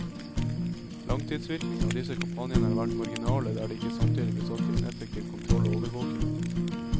Langtidsvirkningene av disse kampanjene har vært marginale der det ikke samtidig ble satt inn effektiv kontroll og overvåking.